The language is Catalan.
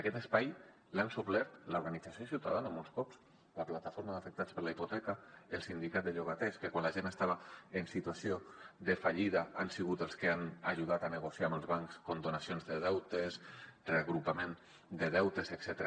aquest espai l’ha suplert l’organització ciutadana molts cops la plataforma d’afectats per la hipoteca el sindicat de llogaters que quan la gent estava en situació de fallida han sigut els que han ajudat a negociar amb els bancs condonacions de deutes reagrupament de deutes etcètera